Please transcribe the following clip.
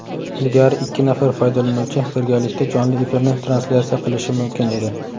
ilgari ikki nafar foydalanuvchi birgalikda jonli efirni translyatsiya qilishi mumkin edi.